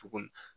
Cogo min na